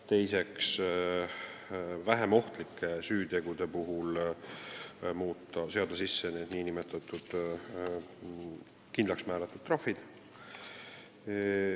Teiseks on eesmärk seada vähem ohtlike süütegude eest sisse nn kindlaksmääratud trahvid.